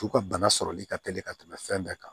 F'u ka bana sɔrɔli ka teli ka tɛmɛ fɛn bɛɛ kan